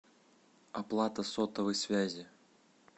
оплата сотовой связи